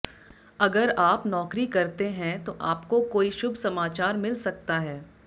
अगर आप नौकरी करते हैं तो आपको कोई शुभ समाचार मिल सकता है